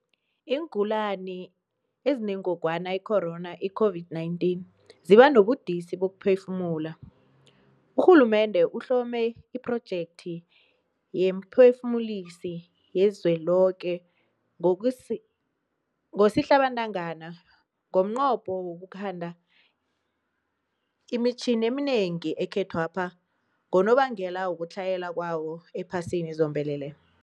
Iingulani ezinen-gogwana i-corona, iCOVID-19, ziba nobudisi bokuphefumula. Urhulumende uhlome iPhrojekthi yeemPhefumulisi yeliZweloke ngoSihlabantangana, ngomnqopho wokukhanda imitjhini eminengi ekhethwapha ngonobangela wokutlhayela kwayo ephasini zombelele.